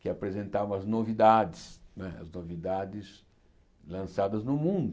que apresentavam as novidades, não é as novidades lançadas no mundo.